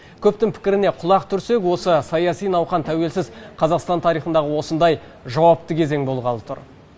көптің пікіріне құлақ түрсек осы саяси науқан тәуелсіз қазақстан тарихиындағы осындай жауапты кезең болғалы тұр